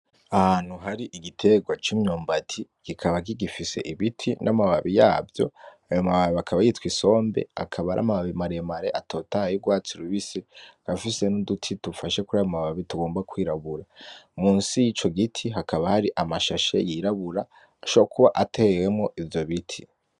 Ahantu hari igitegwa c'imyumbati kikaba kigifise ibiti n'amababi yavyo ayo mababi akaba yitwa isombe akaba aramababi maremare atotahaye y'ugwatsi rubisi akaba afise n'uduti dufashe kurayo mababi tugomba kwirabura, munsi yico giti hakaba hari amashashe yirabura ashobora kuba atewemwo ivyobiti.